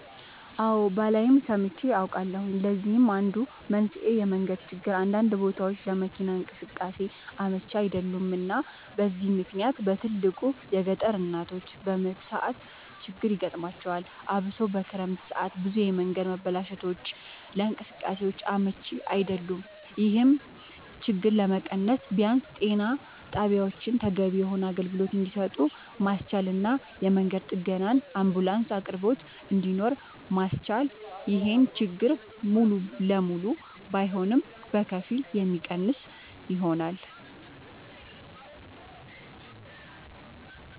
አወ ባላይም ሰምቼ አውቃለሁኝ ለዚህም አንዱ መንስኤ የመንገድ ችግር አንዳንድ ቦታወች ለመኪና እንቅስቃሴ አመች አይደሉም እና በዚህ ምክንያት በትልቁ የገጠር እናቶች በምጥ ሰዓት ችግር ይገጥማቸዋል አብሶ በክረምት ሰዓት ብዙ የመንገድ መበላሸቶች ለእንቅስቃሴ አመች አይደሉም ይሄን ችግር ለመቀነስ ቢያንስ ጤና ጣቢያወችን ተገቢውን የሆነ አገልግሎት እንድሰጡ ማስቻልና የመንገድ ጥገናና የአንቡላንስ አቅርቦት እንድኖር ማስቻል ይሄን ችግር ሙሉ ለሙሉ ባይሆንም በከፊል የሚቀንሰው ይሆናል